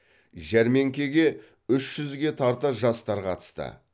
жәрмеңекеге үш жүзге тарта жастар қатысты